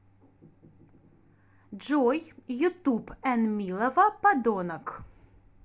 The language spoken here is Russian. джой ютуб энмилова падонок